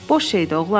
Boş şeydi, oğlan.